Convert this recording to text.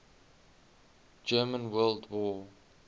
german world war